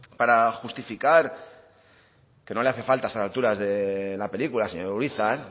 para justificar que no le hace falta a estas alturas de la película señor urizar